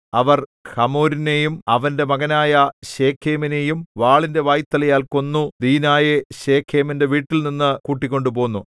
അവർ ഹമോരിനെയും അവന്റെ മകനായ ശേഖേമിനെയും വാളിന്റെ വായ്ത്തലയാൽ കൊന്നു ദീനായെ ശെഖേമിന്റെ വീട്ടിൽനിന്നു കൂട്ടിക്കൊണ്ട് പോന്നു